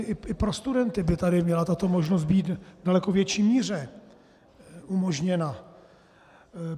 I pro studenty by tady měla tato možnost být v daleko větší míře umožněna.